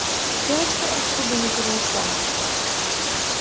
девочка этого бы не перенесла